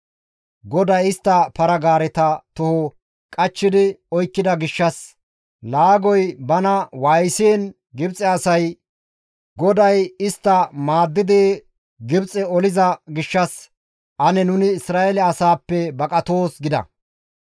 GODAY istta para-gaareta toho qachchi oykkida gishshas laagoy bana waayisiin Gibxe asay, «GODAY istta maaddidi Gibxe oliza gishshas ane nuni Isra7eele asaappe baqatoos» gida.